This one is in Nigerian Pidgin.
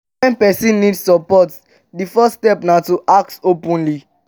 when person need support di first step na to ask openly